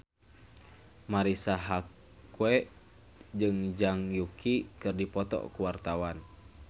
Marisa Haque jeung Zhang Yuqi keur dipoto ku wartawan